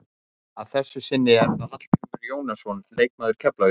Að þessu sinni er það Hallgrímur Jónasson leikmaður Keflavíkur.